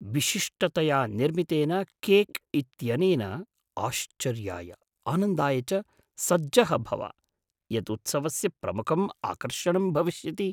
विशिष्टतया निर्मितेन केक् इत्यनेन आश्चर्याय, आनन्दाय च सज्जः भव, यत् उत्सवस्य प्रमुखं आकर्षणं भविष्यति।